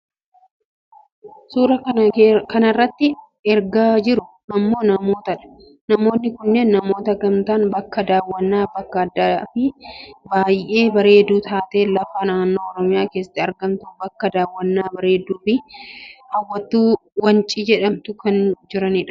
Kan suuraa kanarratti argaa jirru ammoo namootadha. namoonni kunneen namoota gamtaan bakka daawwannaa bakka addaafi baayyee bareedduu taate lafa naannoo oromiyaa keessatti argamtu bakka daawwannaa bareedduu fi hawwattuu wancii jedhamtu kan jiranidha.